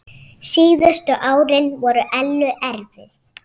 Síðustu árin voru Ellu erfið.